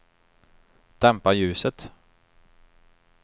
dämpa ljuset